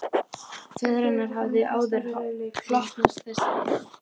Föður hennar hafði áður hlotnast þessi heiður.